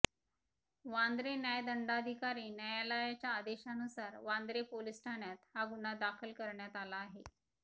वांद्रे न्यायदंडाधिकारी न्यायालयाच्या आदेशानुसार वांद्रे पोलीस ठाण्यात हा गुन्हा दाखल करण्यात आला आहे